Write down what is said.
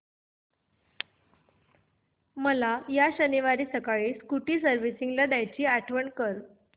मला या शनिवारी सकाळी स्कूटी सर्व्हिसिंगला द्यायची आठवण कर